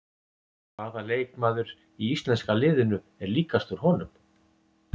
Hvaða leikmaður í íslenska liðinu er líkastur honum?